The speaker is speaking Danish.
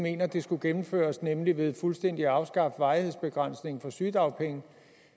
mener det skulle gennemføres nemlig ved fuldstændig at afskaffe varighedsbegrænsningen for sygedagpenge